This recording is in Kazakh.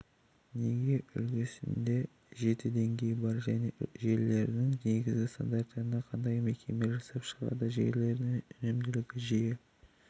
неге үлгісінде жеті деңгей бар және желілерінің негізгі стандарттарын қандай мекеме жасап шығарды желілердің өнімділігінде жиі